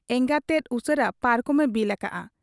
ᱮᱸᱜᱟᱛ ᱛᱮᱫ ᱩᱥᱟᱹᱨᱟ ᱯᱟᱨᱠᱚᱢ ᱮ ᱵᱤᱞ ᱟᱠᱟᱜ ᱟ ᱾